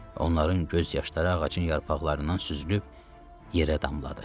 Onların göz yaşları ağacın yarpaqlarından süzülüb yerə damladı.